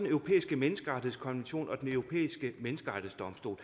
europæiske menneskerettighedskonvention og den europæiske menneskerettighedsdomstol